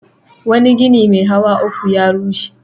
Wani gini mai hawa uku ya rushe.